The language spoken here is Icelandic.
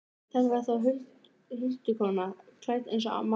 Þetta var þá huldukona, klædd eins og mamma.